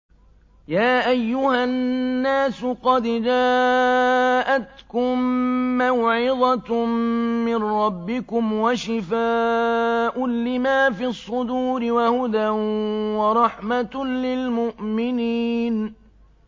يَا أَيُّهَا النَّاسُ قَدْ جَاءَتْكُم مَّوْعِظَةٌ مِّن رَّبِّكُمْ وَشِفَاءٌ لِّمَا فِي الصُّدُورِ وَهُدًى وَرَحْمَةٌ لِّلْمُؤْمِنِينَ